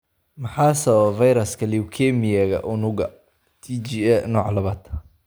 Maxaa sababa fayraska leukemia-ga unugga T-ga, nooca labaad?